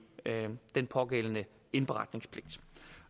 den pågældende indberetningspligt